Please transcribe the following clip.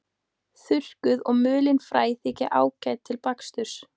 Þurrkuð og mulin fræ þykja ágæt til baksturs.